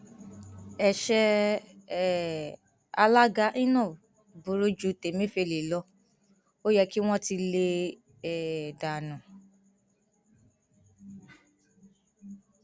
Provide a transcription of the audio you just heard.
ẹṣẹ um alága inov burú ju tẹmẹfẹlẹ lọ ó yẹ kí wọn ti lé e um dànù